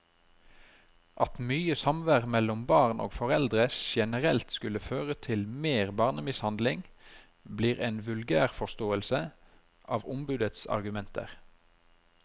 At mye samvær mellom barn og foreldre generelt skulle føre til mer barnemishandling, blir en vulgærforståelse av ombudets argumenter.